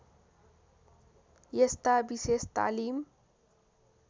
यस्ता विशेष तालिम